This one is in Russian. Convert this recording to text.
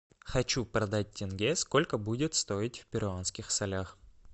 хочу продать тенге сколько будет стоить в перуанских солях